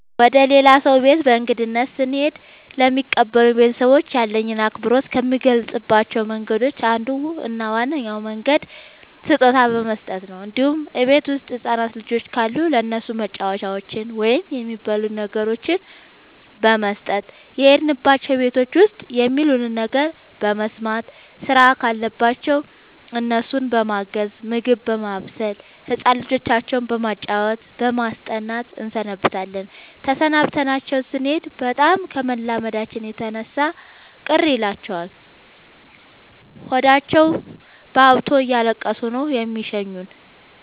ወደ ሌላ ሰው ቤት በእንግድነት ስሄድ ለሚቀበሉኝ ቤተሰቦች ያለኝን አክብሮት ከምገልፅባቸው መንገዶች አንዱ እና ዋነኛው መንገድ ስጦታ በመስጠት ነው እንዲሁም እቤት ውስጥ ህፃናት ልጆች ካሉ ለእነሱ መጫወቻዎችን ወይም የሚበሉ ነገሮችን በመስጠት። የሄድንባቸው ቤቶች ውስጥ የሚሉንን ነገር በመስማት ስራም ካለባቸው እነሱን በማገዝ ምግብ በማብሰል ህፃን ልጆቻቸው በማጫወት በማስጠናት እንሰነብታለን ተሰናብተናቸው ስኔድ በጣም ከመላመዳችን የተነሳ ቅር ይላቸዋል ሆዳቸውባብቶ እያለቀሱ ነው የሚሸኙን።